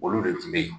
Olu de tun bɛ yen